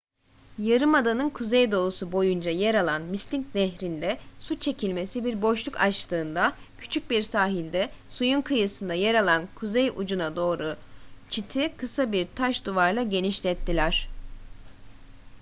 yarımadanın kuzeydoğusu boyunca yer alan mystic nehrinde su çekilmesi bir boşluk açtığında küçük bir sahilde suyun kıyısında yer alan kuzey ucuna doğru çiti kısa bir taş duvarla genişlettiler